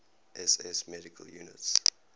ss medical units